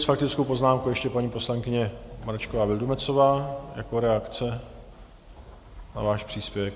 S faktickou poznámkou ještě paní poslankyně Mračková Vildumetzová jako reakce na váš příspěvek.